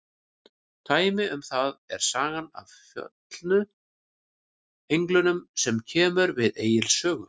Dæmi um það er sagan af föllnu englunum sem kemur við Egils sögu.